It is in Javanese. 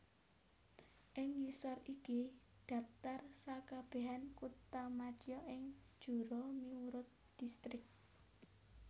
Ing ngisor iki dhaptar sakabehan kuthamadya ing Jura miurut distrik